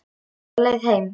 Örn var á leið heim.